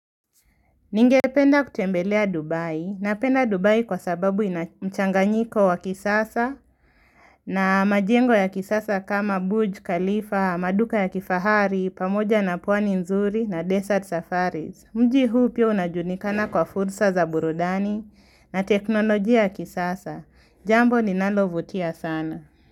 Ningependa kutembelea Dubai, napenda Dubai kwa sababu ina mchanganyiko wa kisasa na majengo ya kisasa kama Buj Khalifa, maduka ya kifahari, pamoja na pwani nzuri na desert safaris. Mji huu pia unajulikana kwa fursa za burudani na teknolojia ya kisasa, jambo linalovutia sana.